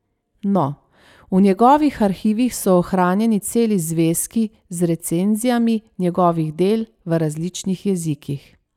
No, v njegovih arhivih so ohranjeni celi zvezki z recenzijami njegovih del v različnih jezikih.